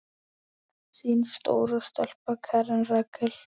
Þín stóra stelpa, Karen Rakel.